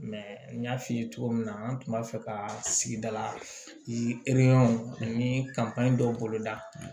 n y'a f'i ye cogo min na an tun b'a fɛ ka sigida la ani dɔw bolo da